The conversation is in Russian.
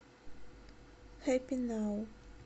хэппи нау